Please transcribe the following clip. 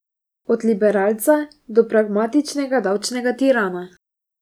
Od liberalca do pragmatičnega davčnega tirana.